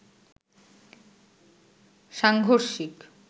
সাংঘর্ষিক